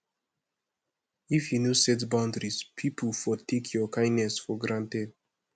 if yu no set boundaries pipo for take yur kindness for granted